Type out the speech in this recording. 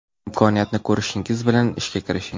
Imkoniyatni ko‘rishingiz bilan ishga kirishing.